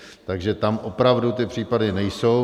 Takže tam opravdu ty případy nejsou.